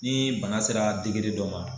Ni bana sera degere dɔ ma,